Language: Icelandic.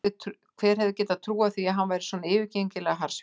Hver hefði getað trúað því að hann væri svona yfirgengilega harðsvíraður!